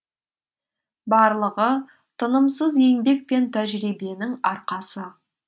барлығы тынымсыз еңбек пен тәжірибенің арқасы